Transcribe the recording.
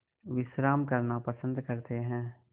विश्राम करना पसंद करते हैं